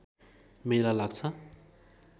मेला लाग्छ